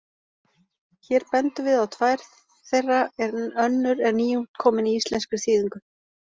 Hér bendum við á tvær þeirra en önnur er nýútkomin í íslenskri þýðingu.